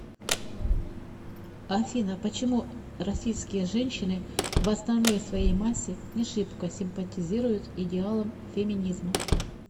афина почему российские женщины в основной своей массе не шибко симпатизируют идеалам феминизма